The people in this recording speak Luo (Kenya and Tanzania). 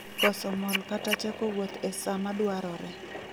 Koso mol kata chako wuoth e saa madwarore.